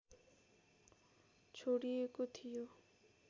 छोडिएको थियो